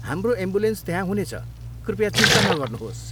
हाम्रो एम्बुलेन्स त्यहाँ हुनेछ, कृपया चिन्ता नगर्नुहोस्।